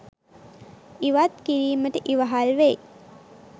ඉවත් කිරීමට ඉවහල් වෙයි.